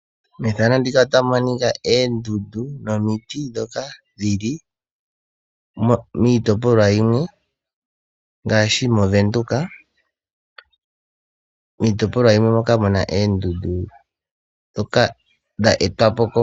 Oondudundu nomiti dhoka dhili miitopolwa yimwe ngaashi; mOvenduka nenge miitopolwa yimwe moka muna eendundu dhoka dha etwapo keshito lyaKalunga.